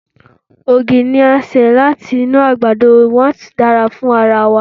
Ògì ni a ṣe láti inú àgbàdo, wón sì dára fún ara wa.